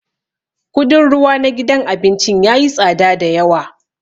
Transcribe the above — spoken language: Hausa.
Kudin ruwa na gidan abincin yayi tsada da yawa.